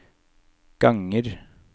ganger